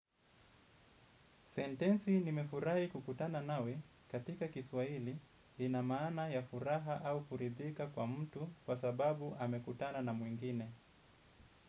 Sentensi "Nimefurahi kukutana nawe" katika Kiswahili ina maana ya furaha au kuridhika kwa mtu kwa sababu amekutana na mwingine.